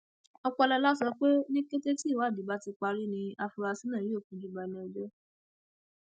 ọpọlọlá sọ pé ní kété tíwádìí bá ti parí ni àfúráṣí náà yóò fojú balẹẹjọ